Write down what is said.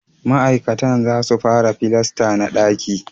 Ma'aikatan za su fara filasta na daki